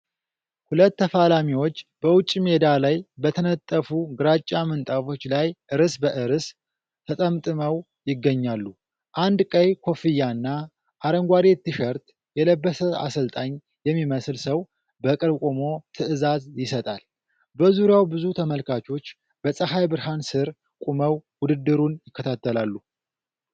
ሁለት ተፋላሚዎች በውጪ ሜዳ ላይ በተነጠፉ ግራጫ ምንጣፎች ላይ እርስ በእርስ ተጠምጥመው ይገኛሉ። አንድ ቀይ ኮፍያና አረንጓዴ ትሸርት የለበሰ አሰልጣኝ የሚመስል ሰው በቅርብ ቆሞ ትዕዛዝ ይሰጣል። በዙሪያው ብዙ ተመልካቾች በፀሐይ ብርሃን ሥር ቆመው ውድድሩን ይከታተላሉ።